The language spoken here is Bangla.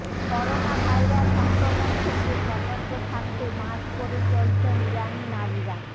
করোনা ভাইরাস সংক্রমণ থেকে সতর্ক থাকতে মাস্ক পরে চলছেন ইরানি নারীরা